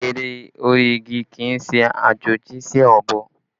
Ère orí igi kì í ṣe àjòjì sí ọ̀bọ